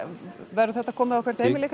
verður þetta komið á hvert heimili